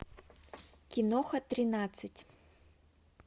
киноха тринадцать